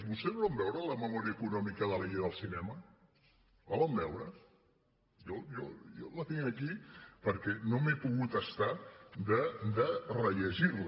vostès van veure la memòria econòmica de la llei del cinema la van veure jo la tinc aquí perquè no m’he pogut estar de rellegir la